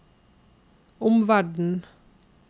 omverden